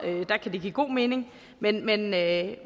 kan give god mening men men at